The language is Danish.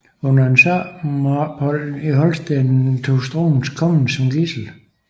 Under et sommerophold i Holsten tog Struensee kongen som gidsel